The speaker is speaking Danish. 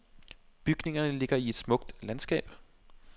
Bygningen ligger i et smukt landskab.